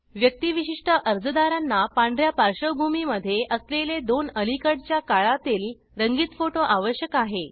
व्यक्तीविशिष्ट अर्जदारांना पांढऱ्या पार्श्वभूमीमधे असलेले दोन अलीकडच्या काळातील रंगीत फोटो आवश्यक आहे